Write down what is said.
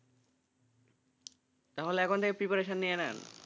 তাহলে এখন থেকে preparation নিয়ে নেন,